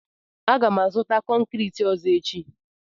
Aga m azụta konkriiti ọzọ echi.